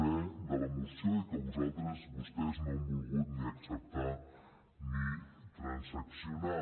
e de la moció i que vostès no han volgut ni acceptar ni transaccionar